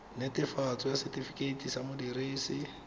netefatso ya setifikeite sa modirisi